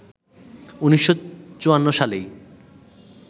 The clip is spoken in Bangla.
১৯৫৪ সালেই